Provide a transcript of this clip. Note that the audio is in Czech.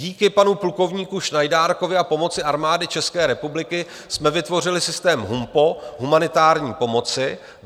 Díky panu plukovníku Šnajdárkovi a pomoci Armády České republiky jsme vytvořili systém HUMPO - humanitární pomoci.